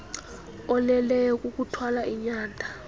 oleleyo kukuthwala inyanda